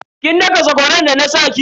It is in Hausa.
Kin daka sakwaran da na sa ki?